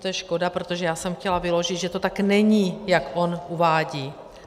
To je škoda, protože já jsem chtěla vyložit, že to tak není, jak on uvádí.